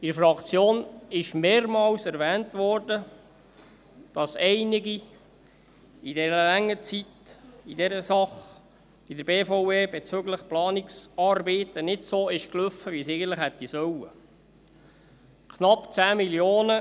In der Fraktion wurde mehrmals erwähnt, dass in dieser Sache in dieser langen Zeit in der BVE bezüglich Planungsarbeiten einiges nicht so lief, wie es eigentliche hätte laufen sollen.